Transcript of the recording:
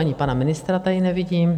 Ani pana ministra tady nevidím.